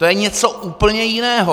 To je něco úplně jiného!